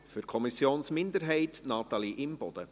Für die Kommissionsminderheit, Natalie Imboden.